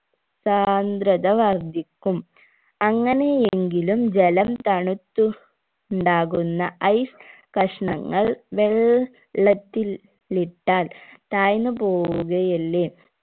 സാന്ദ്രത വർധിക്കും അങ്ങനെയെങ്കിലും ജലം തണുത്തു ഉണ്ടാകുന്ന ice കഷ്ണങ്ങൾ വെൾ ള്ളത്തിൽ ഇട്ടാൽ തായ്‌ന്നു പോവുകയല്ലെ